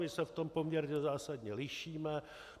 My se v tom poměrně zásadně lišíme.